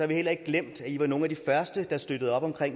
vi heller ikke glemt at i var nogle af de første at støtte op om